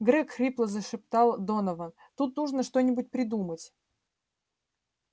грег хрипло зашептал донован тут нужно что-нибудь придумать